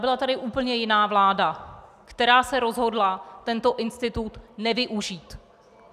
Byla tu úplně jiná vláda, která se rozhodla tento institut nevyužít.